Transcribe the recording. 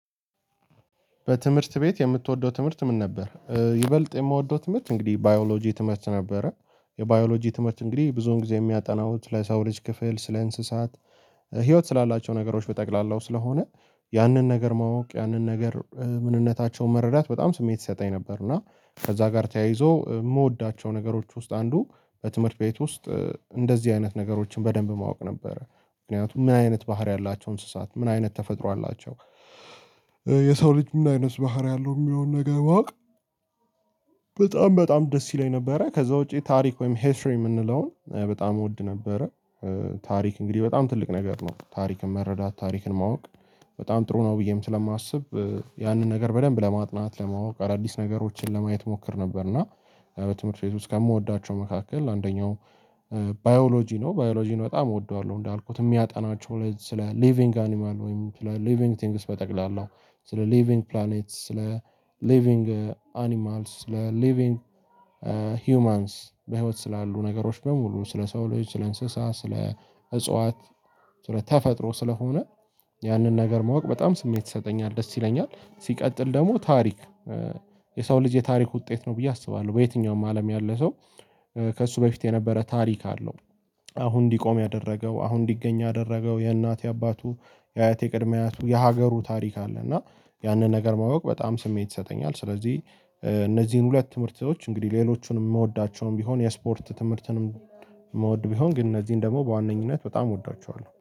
በትምህርት ቤት የምትወደው ትምህርት ምን ነበር? ይበልጥ የምወደው ትምህርት እንግዲህ ባዮሎጂ ትምህርት ነበረ። የባዮሎጂ ትምህርት እንግዲህ ብዙውን ጊዜ የሚያጠናው ስለ ሰው ልጅ ክፍል ስለ እንስሳት። ህይወት ስላላቸው ነገሮች በጠቅላላው ስለሆነ ያንን ነገር ማወቅ ያንን ነገር ምንነታቸውን መረዳት በጣም ስሜት ይሰጣኝ ነበር። እና ከዛ ጋር ተያይዞ የምወዳቸው ነገሮች ውስጥ አንዱ በትምህርት ቤት ውስጥ እንደዚህ አይነት ነገሮችን በደንብ ማወቅ ነበረ። ምክንያቱም ምን አይነት ባህሪ ያላቸው እንስሳት ምን አይነት ተፈጥሮ አላቸው? የሰው ልጅ ምን አይነት ባህሪ አለው የሚለውን ነገር ማወቅ። በጣም በጣም ደስ ይለኝ ነበረ ከዛ ውጪ ታሪክ ወይም ሂስሪ የምንለውን በጣም እወድ ነበረ። ታሪክ እንግዲህ በጣም ትልቅ ነገር ነው፤ ታሪክን መረዳት፣ ታሪክን ማወቅ በጣም ጥሩ ነው ብዬም ስለማስብ። ያንን ነገር በደንብ ለማጥናት ለማወቅ አዳዲስ ነገሮችን ለማየት እሞክር ነበር። እና በትምህርት ቤት ውስጥ ከምወዳቸው መካከል አንደኛው ባዮሎጂ ነው። ባዮሎጂን በጣም እወደዋለሁ እንዳልኩት የሚያጠናቸው ስለ ሊቪንግ አኒማል ወይም ሊቪንግ ቲንግስ በጠቅላላው ስለ ሊቪንግ ፕላኔት ስለ ሊቪንግ አኒማልስ ስለ ሊቪንግ። ሂውማንስ በህይወት ስላሉ ነገሮች በሙሉ ስለ ሰው ልጆች ስለ እንስሳ ስለ እጽዋት ስለ ተፈጥሮ ስለሆነ። ያንን ነገር ማወቅ በጣም ስሜት ይሰጠኛል፤ ደስ ይለኛል ሲቀጥል ደግሞ ታሪክ። የሰው ልጅ የታሪክ ውጤት ነው ብዬ አስባለሁ በየትኛውም አለም ያለ ሰው ከእሱ በፊት የነበረ ታሪክ አለው፤። አሁን እንዲቆም ያደረገው አሁን እንዲገኝ ያደረገው የእናት የአባቱ የአያቴ የቅድሚ አያቱ የሀገሩ ታሪክ አለ። እና ያንን ነገር ማወቅ በጣም ስሜት ይሰጠኛል፤። ስለዚህ እነዚህን ሁለት ትምህርቶች እንግዲህ ሌሎቹንም የምወዳቸውም ቢሆን የስፖርት ትምህርትንም የምውድ ቢሆን ግን እነዚህን ደግሞ በዋነኝነት በጣም እወዳቸዋለሁ